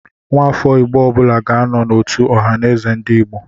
Nwafọ Igbo ọbụla ga-anọ n'otu Ọhaneze/Ndigbo.